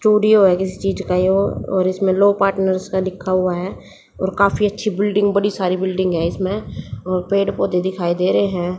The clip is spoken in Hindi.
स्टूडियो है। किसी चीज का यह और इसमें लो पार्टनर्स का लिखा हुआ है और काफी अच्छी बिल्डिंग बड़ी सारी बिल्डिंग है इसमें और पेड़ पौधे दिखाई दे रहे हैं।